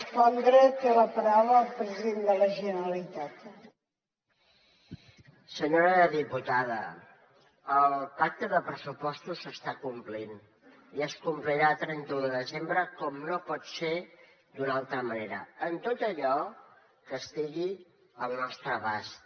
senyora diputada el pacte de pressupostos s’està complint i es complirà a trenta un de desembre com no pot ser d’una altra manera en tot allò que estigui al nostre abast